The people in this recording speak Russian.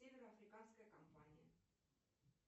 северо африканская компания